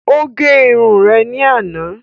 Ó gẹ irun rẹ̀ ní àná